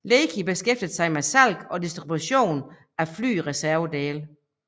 Leki beskæftiger sig med salg og distribution af flyreservedele